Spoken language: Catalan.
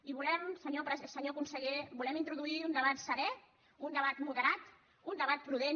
i volem senyor conseller introduir un debat serè un debat moderat un debat prudent